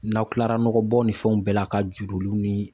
N'aw kilara nɔgɔbɔn ni fɛnw bɛɛ la ka judoliw ni